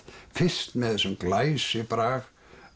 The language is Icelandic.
fyrst með þessum glæsibrag